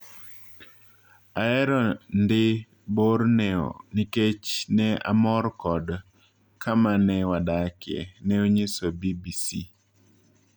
"Ahero ndi Borneo niketch ne amor kod kama ne wadakie," ne onyiso BBC.